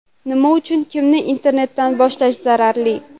Nima uchun kunni internetdan boshlash zararli?.